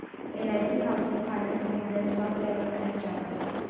LIC housing finance limited stock price and chart